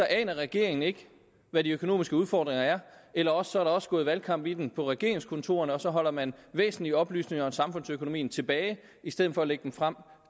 aner regeringen ikke hvad de økonomiske udfordringer er eller også også gået valgkamp i den på regeringskontorerne og så holder man væsentlige oplysninger om samfundsøkonomien tilbage i stedet for at lægge dem frem